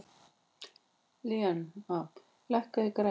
Linnea, lækkaðu í græjunum.